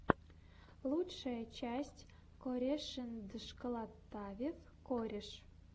лучшая часть корешэндшколотавев кореш